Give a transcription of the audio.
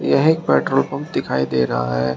यह एक petrol pump दिखाई दे रहा है।